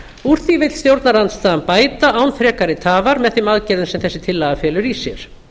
úr því vill stjórnarandstaðan bæta án frekari tafar með þeim aðgerðum sem þessi tillaga felur í sér